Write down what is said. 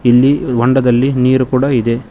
ಇಲ್ಲಿ ಹೊಂಡದಲ್ಲಿ ನೀರು ಕೂಡ ಇದೆ.